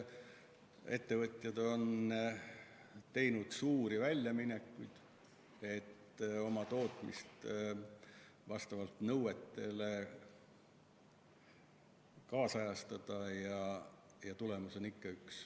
Ettevõtjad on teinud suuri väljaminekuid, et tootmist vastavalt nõuetele kaasajastada, aga tulemus on ikka üks.